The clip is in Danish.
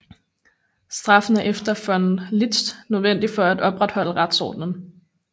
Straffen er efter von Liszt nødvendig for at opretholde retsordenen